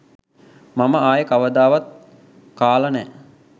මම ආයේ කවදාවත් කාලා නෑ